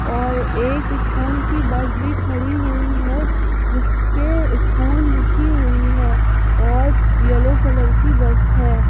और एक स्कूल की बस भी खड़ी हुई है जिस पे स्कूल लिखी हुई है और येलो कलर की बस है।